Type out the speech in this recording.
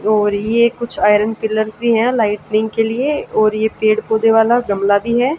और ये कुछ आयरन पिलर्स भी हैं लाइटनिंग के लिए और ये पेड़ पौधे वाला गमला भी है।